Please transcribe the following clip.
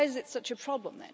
So why is it such a problem?